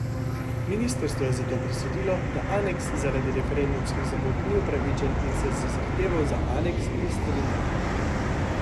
Ministrstvo je zato presodilo, da aneks zaradi referendumskih zamud ni upravičen in se z zahtevo za aneks ni strinjalo.